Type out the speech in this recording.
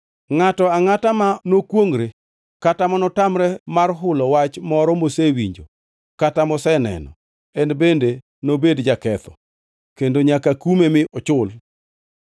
“ ‘Ngʼato angʼata ma nokwongʼre kata ma notamre mar hulo wach moro mosewinjo kata moseneno, en bende nobed jaketho, kendo nyaka kume mi ochul.